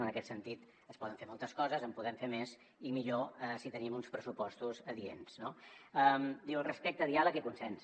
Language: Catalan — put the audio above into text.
en aquest sentit es poden fer moltes coses en podem fer més i millor si tenim uns pressupostos adients no diu respecte diàleg i consens